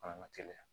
Fana ka teliya